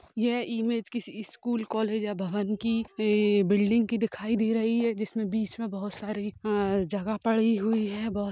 यह इमेज किसी school college या भवन की एबिल्डिंग कीदिखाई दे रही है जिसमे बीच में बहोत सारी आ जगह पड़ी हुई है बहोत--